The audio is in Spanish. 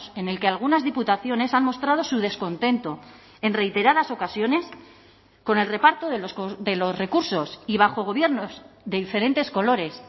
en el que algunas diputaciones han mostrado su descontento en reiteradas ocasiones con el reparto de los recursos y bajo gobiernos de diferentes colores